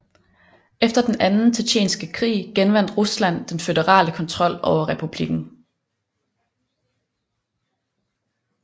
Efter den Anden Tjetjenske krig genvandt Rusland den føderale kontrol over republikken